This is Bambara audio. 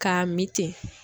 K'a min ten.